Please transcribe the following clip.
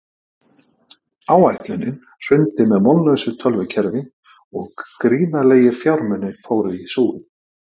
Áætlunin hrundi með vonlausu tölvukerfi og gríðarlegir fjármunir fóru í súginn.